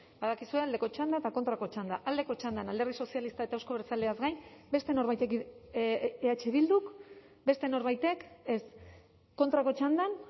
badakizue aldeko txanda eta kontrako txanda aldeko txandan alderdi sozialista eta euzko abertzaleak gain beste norbaitek eh bilduk beste norbaitek ez kontrako txandan